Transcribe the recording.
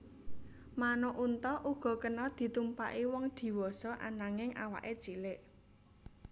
Manuk unta uga kena ditumpaki wong diwasa ananging awaké cilik